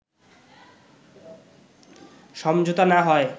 সমঝোতা না হয়